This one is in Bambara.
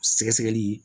Sɛgɛsɛgɛli